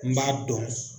N b'a dɔn